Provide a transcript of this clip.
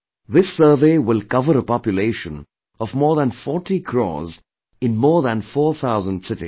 This survey will cover a population of more than 40 crores in more than four thousand cities